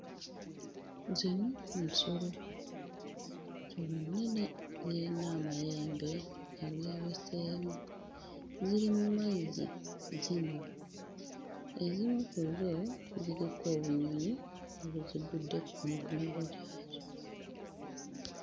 Zino nsolo nsolo nnene n'eyina amayembe ageeweseemu ziri mmazzi zinywa ezimu ku zzo ziriko obunyonyi obuzigudde ku migongo gyazo.